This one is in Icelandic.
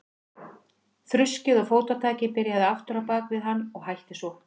Þruskið og fótatakið byrjaði aftur á bak við hann og hætti svo.